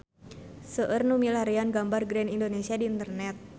Seueur nu milarian gambar Grand Indonesia di internet